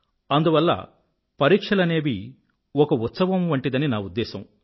అందువల్ల పరిక్షలనేవి ఒక ఉత్సవం వంటిదని నా ఉద్దేశం